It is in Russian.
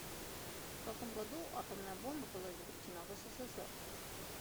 в каком году атомная бомба была изобретена в ссср